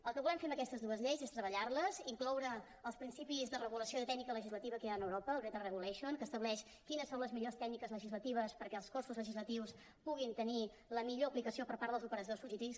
el que volem fer amb aquestes dues lleis és treballar les incloure els principis de regulació i de tècnica legislativa que hi ha a europa el better regulation que estableix quines són les millors tècniques legislatives perquè els cossos legislatius puguin tenir la millor aplicació per part dels operadors jurídics